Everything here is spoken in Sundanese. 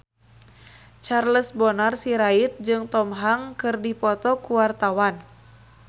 Charles Bonar Sirait jeung Tom Hanks keur dipoto ku wartawan